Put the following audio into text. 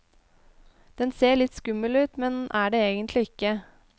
Den ser litt skummel ut, men er det egentlig ikke.